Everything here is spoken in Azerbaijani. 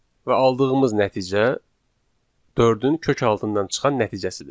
Və aldığımız nəticə dördün kök altından çıxan nəticəsidir.